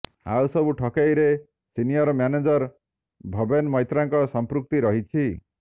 ଆଉ ସବୁ ଠକେଇରେ ସିନିଅର୍ ମ୍ୟାନେଜର ଭବେନ ମୈତ୍ରାଙ୍କ ସଂପୃକ୍ତି ରହିଛି